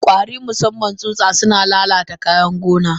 Kwari Musaman tsutsa suna lalata kayan gona.